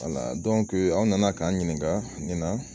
aw nana k'an ɲininka ni na.